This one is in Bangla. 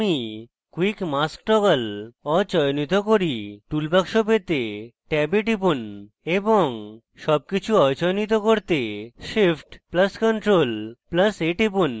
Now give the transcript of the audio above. আমি quick mask toggle অচয়নিত করি টুল বাক্স পেতে ট্যাবে টিপুন এবং tab কিছু অচয়নিত করতে shift + ctrl + a টিপুন